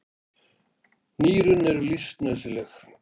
Nýrun eru því lífsnauðsynleg.